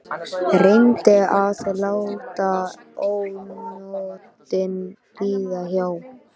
Reyndi að láta ónotin líða hjá.